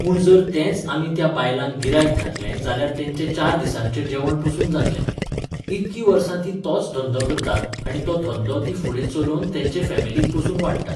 पूण जर तेंच आमी त्या बायलांक गिरायक घातलें जाल्यार तेंचें चार दिसांचे जेवण पसून जातलें. इतकीं वर्सां तीं तोच धंदो करतात आणी तो धंदो तीं फुडें चलोवन तेंचे फॅमिलीक पसून वाडटात